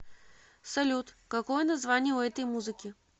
салют какое название у этой музыки